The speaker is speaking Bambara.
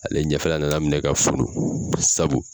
Ale ɲɛfɛla nana minɛ ka funu sabu